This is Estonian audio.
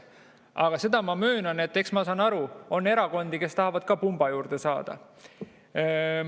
Aga ma möönan, et ma saan aru, on erakondi, kes tahavad ka pumba juurde saada.